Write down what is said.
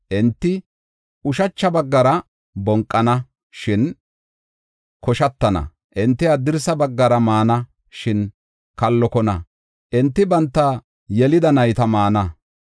Enti ushacha baggara bonqana, shin koshatana; enti haddirsa baggara maana, shin kallokona; enti banta yelida nayta maana.